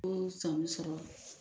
O san bɛ sɔrɔ.